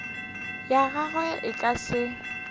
ya gagwe e ka se